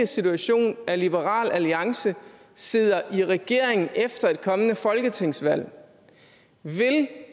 situation nemlig at liberal alliance sidder i regering efter et kommende folketingsvalg vil